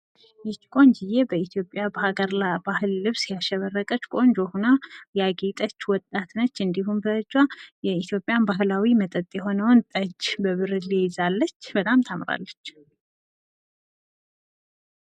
ይች ቆንጂየ በኢትዮጵያ ሀገር ልብስ ያሸበረቀች፣ ቆንጆ ሁና ያጌጠች፣ ወጣት ነች ፤ እንዲሁም በጅ የኢትዮጵያን ባሕላዊ መጠጥ የሆነዉን ጠጅ በብርሌ ይዛለች በጣም ታምራለች።